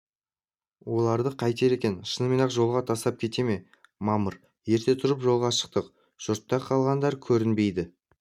оларды қайтер екен шынымен-ақ жолға тастап кете ме мамыр ерте тұрып жолға шықтық жұртта қалғандар көрінбейді